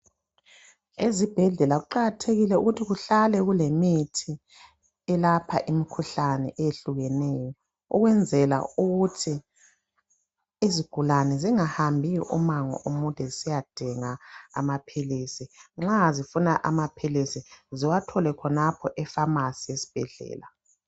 Ezibhedlela kuqakathekile ukuthi kuhlale kulemithi elapha imikhuhlane eyehlukeneyo. Ukwenzela ukuthi izigulane zingahambi umango omude zisiyadinga amaphilizi nxa zifuna amaphilizi ziwathole khonapho efamasi esibhedlela.